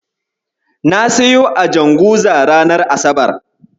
Na siyo a Janguza ranar asabar.